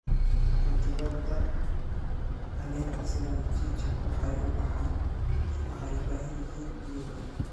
Khudradda caleenta sida mchicha waxay u baahan yihiin biyo badan.